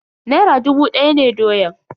Naira dubu daya ne doyan.